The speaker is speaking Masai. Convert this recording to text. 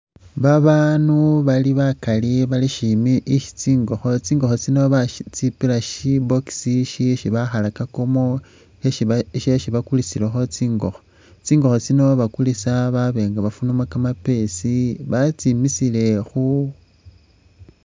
Babaanu bali bakali bali shimi isi tsingokho, tsingokho tsino batsipila shi box isi bakhalakakamo shesi bakulisilakho tsingokho. Tsingokho tsino bakulisa baba nga bafunamu kamapesi batsimisile awo.